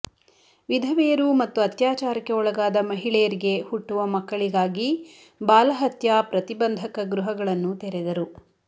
ವಿಧವೆಯರು ಮತ್ತು ಅತ್ಯಾಚಾರಕ್ಕೆ ಒಳಗಾದ ಮಹಿಳೆಯರಿಗೆ ಹುಟ್ಟುವ ಮಕ್ಕಳಿಗಾಗಿ ಬಾಲಹತ್ಯಾ ಪ್ರತಿಬಂಧಕ ಗೃಹಗಳನ್ನು ತೆರೆದರು